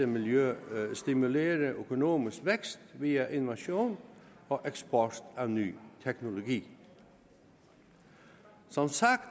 miljø stimulere økonomisk vækst via innovation og eksport af ny teknologi som sagt